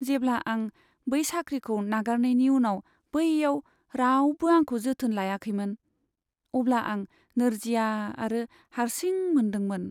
जेब्ला आं बै साख्रिखौ नागारनायनि उनाव बैआव रावबो आंखौ जोथोन लायाखैमोन, अब्ला आं नोरजिया आरो हारसिं मोन्दांदोंमोन।